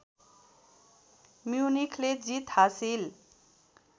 म्युनिखले जित हासिल